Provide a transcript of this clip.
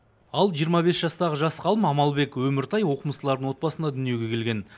ал жиырма бес жастағы жас ғалым амалбек өміртай оқымыстылардың отбасында дүниеге келген